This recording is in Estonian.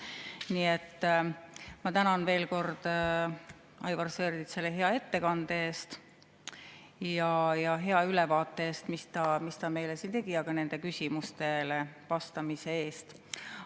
Nii et ma tänan veel kord Aivar Sõerdit hea ettekande ja hea ülevaate eest, mis ta meile siin tegi, ja ka küsimustele vastamise eest.